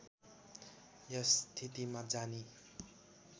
यस स्थितिमा जानी